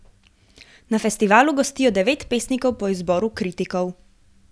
Na festivalu gostijo devet pesnikov po izboru kritikov.